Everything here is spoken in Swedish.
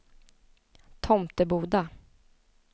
Tomteboda